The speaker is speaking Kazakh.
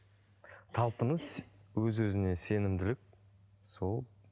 талпыныс өз өзіне сенімділік сол